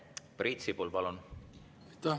Priit Sibul, palun!